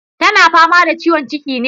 Tana fama da ciwon ciki ne?